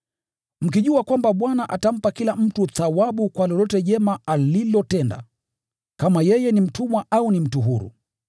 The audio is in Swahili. Mkijua kwamba Bwana atampa kila mtu thawabu kwa lolote jema alilotenda, kama yeye ni mtumwa au ni mtu huru.